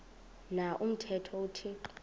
na umthetho uthixo